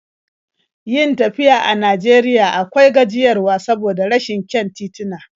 Yin tafiya a Najeriya akwai gajiyarwa saboda rashin kyan tituna.